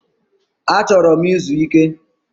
Achoro m izu Ike